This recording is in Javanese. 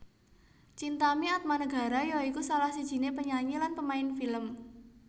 Chintami Atmanegara ya iku salah sijiné penyanyi lan pemain film